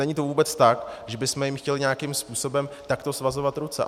Není to vůbec tak, že bychom jim chtěli nějakým způsobem takto svazovat ruce.